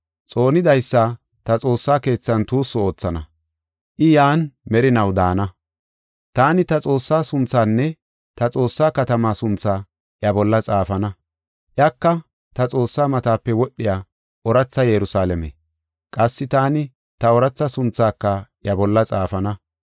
Xoonidaysa ta xoossa keethan tuussu oothana; I yan merinaw daana. Taani ta Xoossaa sunthaanne ta Xoossaa katamaa sunthaa iya bolla xaafana; iyaka ta Xoossaa matape wodhiya ooratha Yerusalaame. Qassi taani ta ooratha sunthaaka I bolla xaafana.